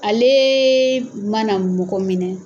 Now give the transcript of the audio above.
Aleee mana mɔgɔ minɛ.